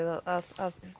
að